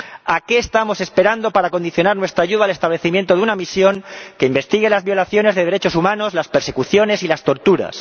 ¿A qué estamos esperando para condicionar nuestra ayuda a la creación de una misión que investigue las violaciones de derechos humanos, las persecuciones y las torturas?